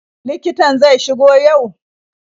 Likitan zai shigo yau?